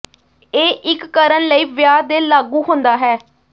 ਇਹ ਇੱਕ ਕਰਨ ਲਈ ਵਿਆਹ ਦੇ ਲਾਗੂ ਹੁੰਦਾ ਹੈ